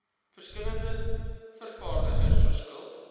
verskillende vervaardigers verskil